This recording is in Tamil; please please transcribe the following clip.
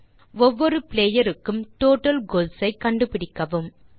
1ஒவ்வொரு பிளேயர் க்கும் டோட்டல் கோல்ஸ் ஐ கண்டுபிடிக்கவும்